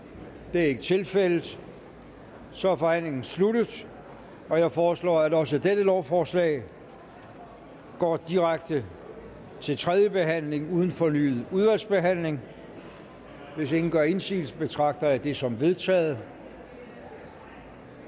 det er ikke tilfældet og så er forhandlingen sluttet jeg foreslår at også dette lovforslag går direkte til tredje behandling uden fornyet udvalgsbehandling hvis ingen gør indsigelse betragter jeg det som vedtaget